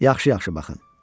Yaxşı-yaxşı baxın.